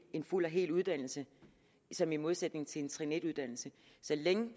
en fuld og hel uddannelse som en modsætning til en trin en uddannelse så længe